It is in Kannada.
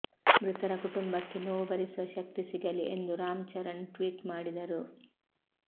ಮೃತರ ಕುಟುಂಬಕ್ಕೆ ನೋವು ಭರಿಸುವ ಶಕ್ತಿ ಸಿಗಲಿ ಎಂದು ರಾಮ್ ಚರಣ್ ಟ್ವೀಟ್ ಮಾಡಿದ್ದರು